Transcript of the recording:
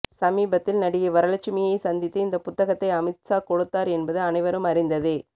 சமீபத்தில் நடிகை வரலட்சுமியை சந்தித்து இந்த புத்தகத்தை அமித்ஷா கொடுத்தார் என்பது அனைவரும் அறிந்ததே